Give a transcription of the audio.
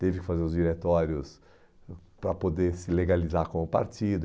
teve que fazer os diretórios para poder se legalizar como partido.